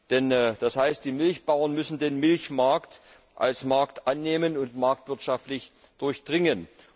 Denn das heißt, die Milchbauern müssen den Milchmarkt als Markt annehmen und marktwirtschaftlich durchdringen.